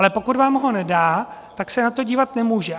Ale pokud vám ho nedá, tak se na to dívat nemůže.